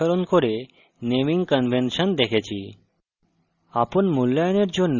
এছাড়াও আমরা java অনুসরণ করে naming কনভেনশন দেখেছি